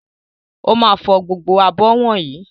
Ó máa fọ gbogbo abọ́ wọ̀nyí.